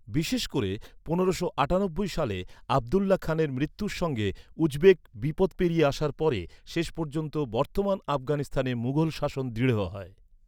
বিশেষ করে পনেরোশো আটানব্বই সালে আবদুল্লাহ খানের মৃত্যুর সঙ্গে উজবেক বিপদ পেরিয়ে আসার পরে, শেষ পর্যন্ত বর্তমান আফগানিস্তানে মুঘল শাসন দৃঢ় হয়।